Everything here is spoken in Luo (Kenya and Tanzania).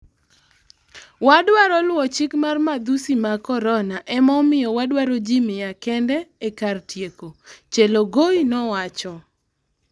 Wadwa luwo chick mar madhusi mag Corona ema omiyo wadwaro jii miya kende ee kar tieko, Chelogoi nowacho